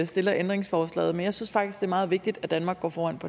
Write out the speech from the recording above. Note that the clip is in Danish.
stiller ændringsforslaget men jeg synes faktisk det er meget vigtigt at danmark går foran